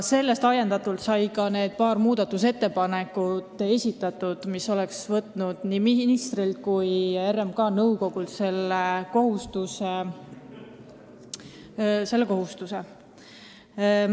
Sellest ajendatult esitasime ka need paar muudatusettepanekut, mis oleks nii ministrilt kui RMK nõukogult selle kohustuse võtnud.